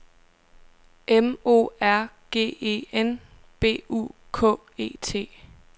M O R G E N B U K E T